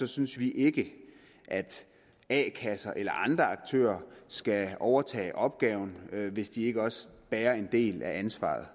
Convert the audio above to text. synes vi ikke at a kasser eller andre aktører skal overtage opgaven hvis de ikke også bærer en del af ansvaret